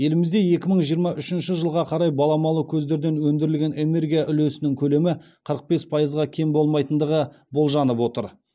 елімізде екі мың жиырма үшінші жылға қарай баламалы көздерден өндірілген энергия үлесінің көлемі қырық бес пайызға кем болмайтындығы болжанып отыр